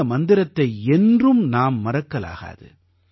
இந்த மந்திரத்தை என்றும் நாம் மறக்கலாகாது